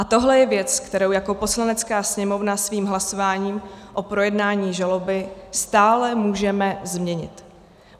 A tohle je věc, kterou jako Poslanecká sněmovna svým hlasováním o projednání žaloby stále můžeme změnit.